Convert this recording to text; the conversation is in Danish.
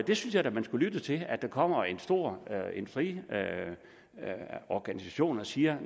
det synes jeg da man skulle lytte til der kommer en stor fri organisation og siger